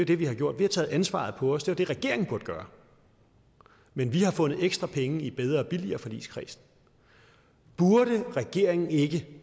det vi har gjort vi har taget ansvaret på os det var det regeringen burde gøre men vi har fundet ekstra penge i bedre og billigere forligskredsen burde regeringen ikke